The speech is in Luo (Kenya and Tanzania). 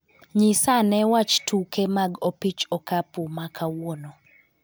nyisa ane wach tuke mag opich okapu ma kawuono.